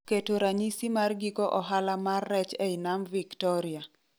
keto ranyisi mar giko ohala mar rech ei nam Victoria